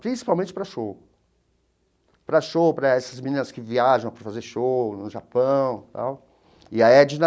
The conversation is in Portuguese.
Principalmente para show, para show para essas meninas que viajam para fazer shows no Japão tal e a Edna.